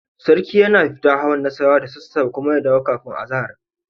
Sarki yana fita hawan Nassarawa da sassafe kuma ya dawo kafin sallar azahar.